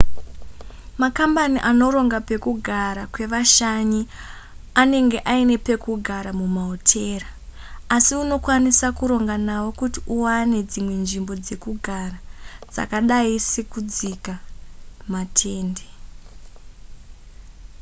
makambani anoronga pekugara kwevashanyi anenge aine pekugara mumahotera asi unokwanisa kuronga navo kuti uwane dzimwe nzvimbo dzekugara dzakadai sekudzika matende